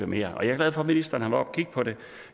mere jeg er glad for at ministeren har været oppe at kigge på det